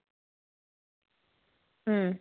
ഉം